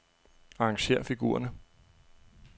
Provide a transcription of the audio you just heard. Arrangér figurerne.